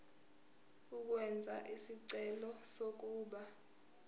ukwenza isicelo sokuba